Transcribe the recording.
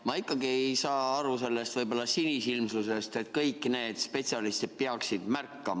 Ma ikkagi ei saa aru sellest sinisilmsusest, et kõik need spetsialistid peaksid märkama.